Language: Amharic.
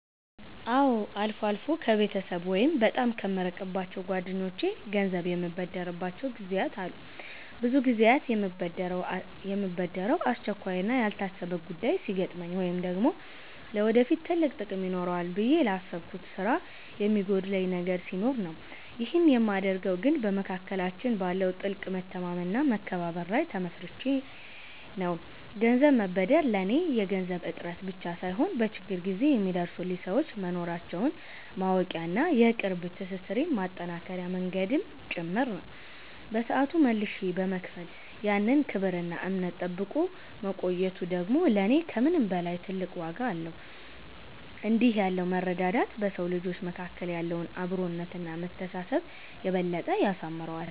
አዎ፣ አልፎ አልፎ ከቤተሰብ ወይም በጣም ከምቀርባቸው ጓደኞቼ ገንዘብ የምበደርባቸው ጊዜያት አሉ። ብዙ ጊዜ የምበደረው አስቸኳይና ያልታሰበ ጉዳይ ሲገጥመኝ ወይም ደግሞ ለወደፊት ትልቅ ጥቅም ይኖረዋል ብዬ ላሰብኩት ስራ የሚጎድለኝ ነገር ሲኖር ነው። ይህንን የማደርገው ግን በመካከላችን ባለው ጥልቅ መተማመንና መከባበር ላይ ተመስርቼ ነው። ገንዘብ መበደር ለኔ የገንዘብ እጥረት ብቻ ሳይሆን፣ በችግር ጊዜ የሚደርሱልኝ ሰዎች መኖራቸውን ማወቂያና የቅርብ ትስስሬን ማጠናከሪያ መንገድም ጭምር ነው። በሰዓቱ መልሼ በመክፈል ያን ክብርና እምነት ጠብቆ መቆየቱ ደግሞ ለኔ ከምንም በላይ ትልቅ ዋጋ አለው። እንዲህ ያለው መረዳዳት በሰው ልጆች መካከል ያለውን አብሮነትና መተሳሰብ የበለጠ ያሳምረዋል።